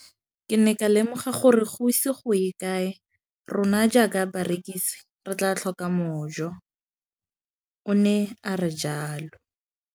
Ke ne ka lemoga gore go ise go ye kae rona jaaka barekise re tla tlhoka mojo, o ne a re jalo.